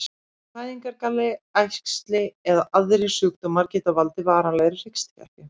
Fæðingargalli, æxli eða aðrir sjúkdómar geta valdið varanlegri hryggskekkju.